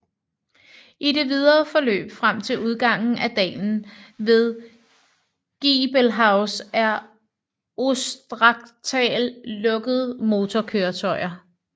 I det videre forløb frem til udgangen af dalen ved Giebelhaus er Ostrachtal lukket motorkøretøjer